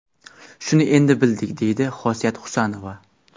Shuni endi bildik”, deydi Xosiyat Husanova.